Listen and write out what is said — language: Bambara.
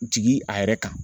Jigi a yɛrɛ kan.